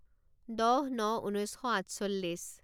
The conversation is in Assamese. দহ ন ঊনৈছ শ আঠচল্লিছ